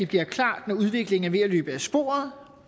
bliver klart når udviklingen er ved at løbe af sporet